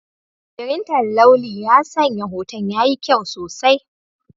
Firinta launi ya sanya hoton yayi kyau sosai.